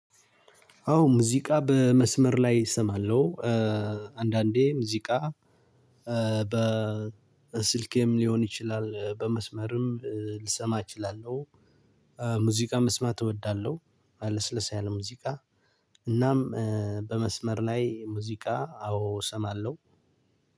አዎ ሙዚቃ በመስመር ላይ እሰማለሁ አንዳንዴ ሙዚቃ በስልኬም ሊሆን ይችላል በመስመርም ልሰማ እችላለሁ ሙዚቃ መስማት እወዳለሁ ለስለስ ያለ ሙዚቃ እናም በመስመር ላይ ሙዚቃ አዎ እሰማለው።